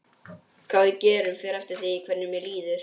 Hvað við gerum fer eftir því hvernig mér líður.